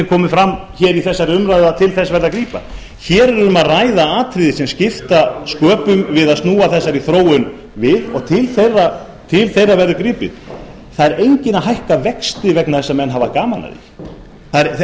komið fram í þessari umræðu að til þess verði að grípa hér er um að ræða atriði sem skipta sköpum við að snúa þessari þróun við og til þeirra verður gripið það er enginn að hækka vexti vegna þess að menn hafa gaman af því